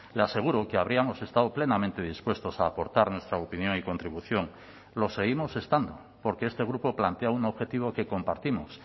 le aseguro que habríamos estado plenamente dispuestos a aportar nuestra opinión y contribución lo seguimos estando porque este grupo plantea un objetivo que compartimos